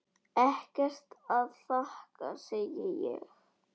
Ekkert að þakka, segi ég.